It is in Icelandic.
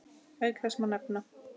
Auk þess má nefna